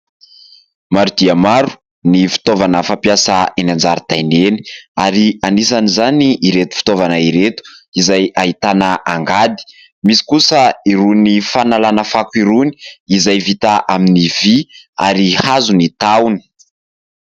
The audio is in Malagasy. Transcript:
Maro dia maro ny fitaovana fampiasa eny an-jaridaina eny ary anisan'izany ireto fitaovana ireto izay ahitana angady. Misy kosa irony fanalana fako irony izay vita amin'ny vy ary hazo ny tahony.